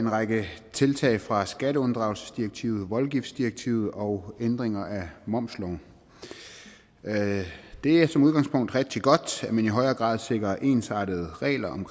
en række tiltag fra skatteunddragelsesdirektivet og voldgiftsdirektivet og ændringer af momsloven det er som udgangspunkt rigtig godt at man i højere grad sikrer ensartede regler om